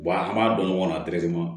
an b'a dɔn ɲɔgɔnna